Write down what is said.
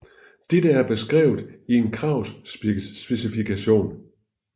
Dette er beskrevet i en kravspecifikation